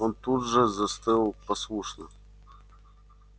он тут же застыл послушно